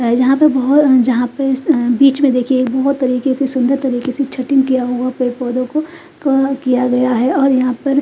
guys यहाँ पे बह जहाँ पे बीच में देखिये बहुत तरीके से सुंदर तरीके से छटिंग किया हुआ पेड़ पौधों को किया गया हैं और यहाँ पर --